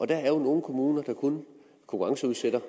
der er jo nogle kommuner der kun konkurrenceudsætter